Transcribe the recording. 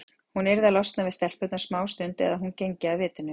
Hún yrði að losna við stelpurnar smástund eða hún gengi af vitinu.